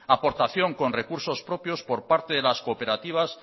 aportación con recursos propios por parte de las cooperativas